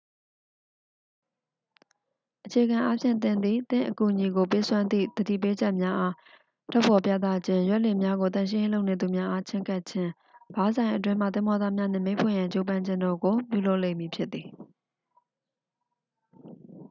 အခြေခံအားဖြင့် သင်သည် သင့်အကူအညီကို ပေးစွမ်းသည့် သတိပေးချက်များအား ထုတ်ဖော်ပြသခြင်း ရွက်လှေများကို သန့်ရှင်းရေးလုပ်နေသူများအား ချဉ်းကပ်ခြင်း ဘားဆိုင်အတွင်းမှ သင်္ဘောသားများနှင့် မိတ်ဖွဲ့ရန် ကြိုးပမ်းခြင်းတို့ကို ပြုလုပ်လိမ့်မည်ဖြစ်သည်